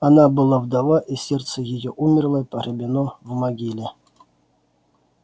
она была вдова и сердце её умерло и погребено в могиле